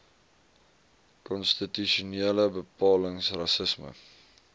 konstitusionele bepalings rassisme